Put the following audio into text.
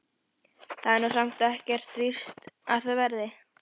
Það er nú samt ekkert víst að það verði.